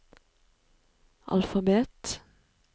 alfabet